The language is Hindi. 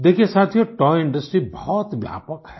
देखिये साथियो तोय इंडस्ट्री बहुत व्यापक है